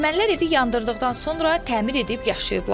Ermənilər evi yandırdıqdan sonra təmir edib yaşayıblar.